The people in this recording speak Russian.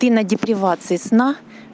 ты на депривации сна